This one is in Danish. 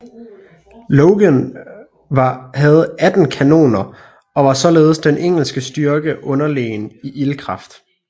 Lougen havde 18 kanoner og var således den engelske styrke underlegen i ildkraft